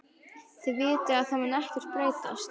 Þið vitið að það mun ekkert breytast.